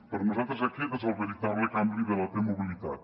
per nosaltres aquest és el veritable canvi de la t mobilitat